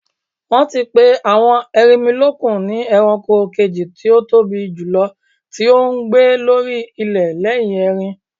Wọ́n ti pè àwọn erinmilókun ni ẹranko kejì tí ótóbi jùlọ tí ó ń gbé lórí ilẹ̀ lẹ́yìn erin.